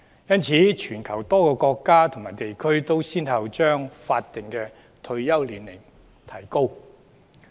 因此，全球多個國家和地區均已先後把法定退休年齡提高。